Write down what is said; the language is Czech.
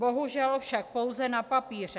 Bohužel však pouze na papíře.